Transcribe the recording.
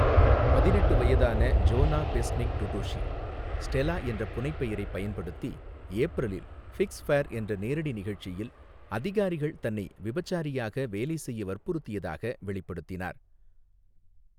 பதினெட்டு வயதான Jona Besnik Dudushi, 'Stela' என்ற புனைப்பெயரைப் பயன்படுத்தி, ஏப்ரலில் 'ஃபிக்ஸ் ஃபேர்' என்ற நேரடி நிகழ்ச்சியில், அதிகாரிகள் தன்னை விபச்சாரியாக வேலை செய்ய வற்புறுத்தியதாக வெளிப்படுத்தினார்.